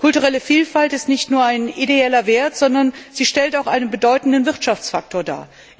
Kulturelle Vielfalt ist nicht nur ein ideeller Wert, sondern sie stellt auch einen bedeutenden Wirtschaftsfaktor dar.